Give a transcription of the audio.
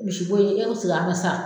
Kurusi ko ye e ka seg'a kan sa